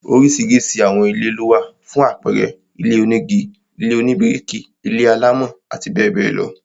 Oríṣiríṣi àwọn ilé lówà, fún àpẹẹrẹ, ilé onígi, ilé oníbíríkì, ilé-alámọ̀ àti bẹẹ bẹẹ lọ